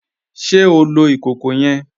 Ṣe o lọ ikọkọ yẹn?